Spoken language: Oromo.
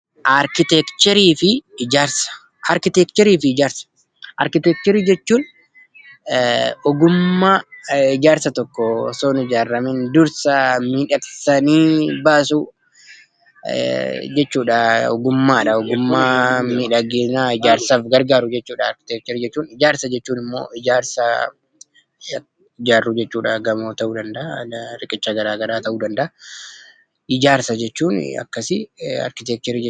Arkiteekcharii jechuun ogummaa ijaarsa tokko osoo hin ijaaramiin dursa miidhagsanii baasuu jechuu ogummaadha. Ogummaa miidhaginaa ijaarsaaf gargaaru jechuudha. Ijaarsa jechuun immoo wanta ijaaru gamoo ta'uu danda'a riqicha garaagaraa ta'uu danda'a.